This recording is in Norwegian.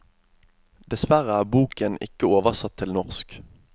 Dessverre er boken ikke oversatt til norsk.